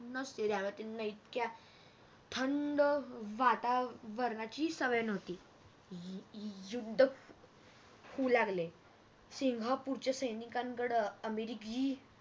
नसते त्यामूळे त्यांना इतक्या थंड हम्म वातावरणाची सवय नव्हती युद्ध अं होऊ लागले सिंगापूरच्या सैनिकांनकड अमेरिकी